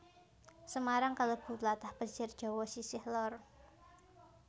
Semarang kalebu tlatah pesisir Jawa sisih lor